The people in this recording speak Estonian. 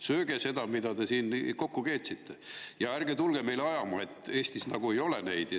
Sööge seda, mida te olete siin kokku keetnud, ja ärge tulge meile ajama, justkui Eestis neid ei ole.